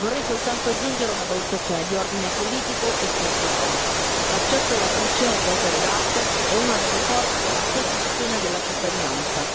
Vorrei soltanto aggiungere una valutazione di ordine politico e culturale. L'accesso alla fruizione di opere d'arte è una delle forme della costruzione della cittadinanza.